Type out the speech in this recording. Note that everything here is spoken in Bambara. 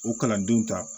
O kalandenw ta